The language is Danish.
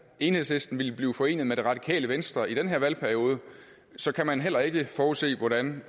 enhedslisten ville blive forenet med det radikale venstre i den her valgperiode så kan man heller ikke forudse hvordan